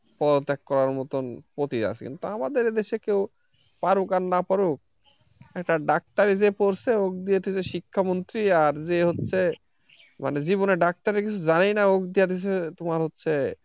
পদত্যাগ করার মতন আছে কিন্তু আমাদের এই দেশে কেউ পারুক আর না পারুক একটা doctor ই যে করছে শিক্ষা মন্ত্রী আর যে হচ্ছে মানে জীবনের doctor এর কিছু জানেই না ওকে দিয়ে দেছে তোমার হচ্ছে,